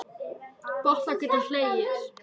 Gott að geta hlegið.